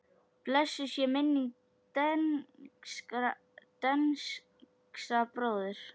Blessuð sé minning Dengsa bróður.